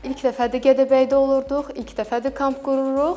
İlk dəfədir Gədəbəydə olurduq, ilk dəfədir kamp qururuq.